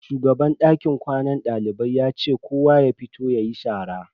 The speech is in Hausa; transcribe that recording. Shugaban dakin kwanan dalibai ya ce kowa ya fito yayi shara.